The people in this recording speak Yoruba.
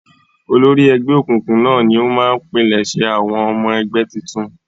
Olórí ẹgbẹ́ òkùnkùn náà ni ó máa ń pilẹ̀sẹ̀ àwọn ọmọ ẹgbẹ́ tuntun.